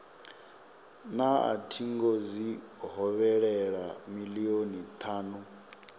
na thingo dzi hovhelelaho milioni thanu